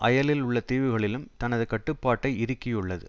அயலில் உள்ள தீவுகளிலும் தனது கட்டுப்பாட்டை இறுக்கியுள்ளது